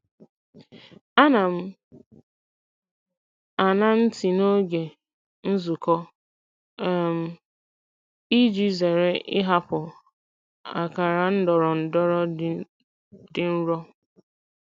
Ana m aṅa ntị n'oge nzukọ um iji zere ịhapụ akara ndọrọndọrọ dị nro.